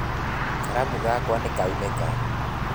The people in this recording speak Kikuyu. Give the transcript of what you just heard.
Karamu gakwa ni kaunĩka